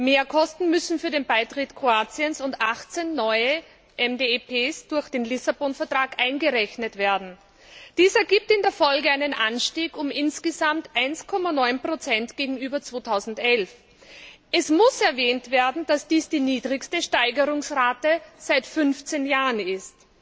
Mehrkosten müssen für den Beitritt Kroatiens und 18 neue MdEP durch den Vertrag von Lissabon eingerechnet werden. Dies ergibt in der Folge einen Anstieg um insgesamt 1,9 gegenüber 2011. Es muss erwähnt werden, dass dies die niedrigste Steigerungsrate seit 15 Jahren ist.